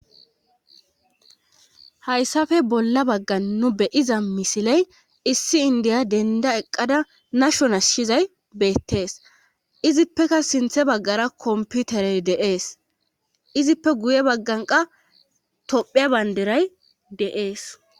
hayssafe bolla baggan nu beyiza misiley issi indiya denda eqqada nashon ashshizay beettees izippeka sinthe baggara komputerey deees izippe guye bagganqa tophia banderay deees